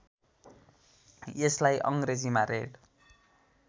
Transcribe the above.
यसलाई अङ्ग्रेजीमा रेड